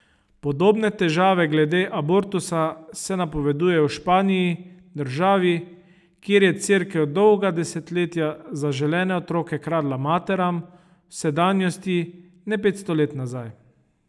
Podobne težave glede abortusa se napovedujejo v Španiji, državi, kjer je Cerkev dolga desetletja zaželene otroke kradla materam, v sedanjosti, ne petsto let nazaj.